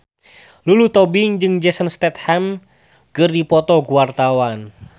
Lulu Tobing jeung Jason Statham keur dipoto ku wartawan